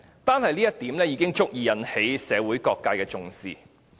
單是這一點，西九文化區已足以受到社會各界的重視。